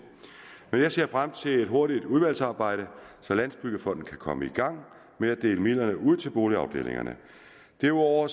men jeg ser frem til et hurtigt udvalgsarbejde så landsbyggefonden kan komme i gang med at dele midlerne ud til boligafdelingerne derudover